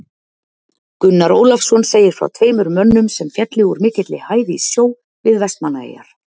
Gunnar Ólafsson segir frá tveimur mönnum sem féllu úr mikilli hæð í sjó við Vestmannaeyjar.